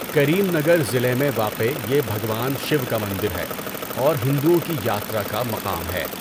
کریم نگر ضلع میں واقع یہ بھگوان شیوا کا مندر ہے اور ہندؤوں کی یاترا کا مقام ہے۔